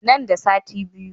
Nan da sati biyu.